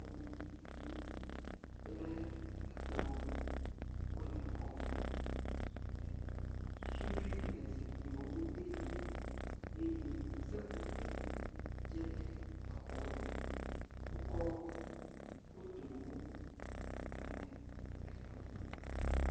Xɔme zikpuiwo kple ekplɔwo le xɔme. Sudui le zikpuiawo le te me eye seƒoƒo tse le exɔ me. Wokɔ fotowo da ɖe egli nu.